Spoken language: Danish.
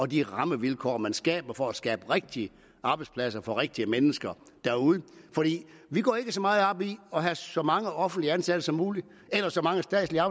de rammevilkår man skaber for at skabe rigtige arbejdspladser for rigtige mennesker derude vi går ikke så meget op i at have så mange offentlige ansatte som muligt eller så mange statslige